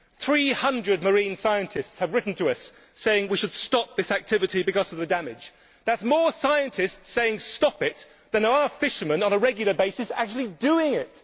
Three hundred marine scientists have written to us saying that we should stop this activity because of the damage. That is more scientists saying we should stop it than there are fishermen on a regular basis actually doing it!